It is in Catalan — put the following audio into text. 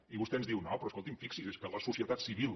i vostè ens diu no però escolti’m fixi’s és que la societat civil